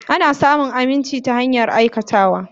Ana samun aminci ta hanyar aikatawa.